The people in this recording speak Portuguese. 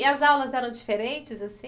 E as aulas eram diferentes, assim?